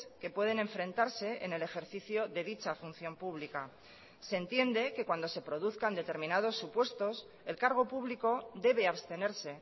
que pueden enfrentarse en el ejercicio de dicha función pública se entiende que cuando se produzcan determinados supuestos el cargo público debe abstenerse